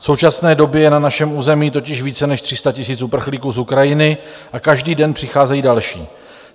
V současné době je na našem území totiž více než 300 000 uprchlíků z Ukrajiny a každý den přicházejí další.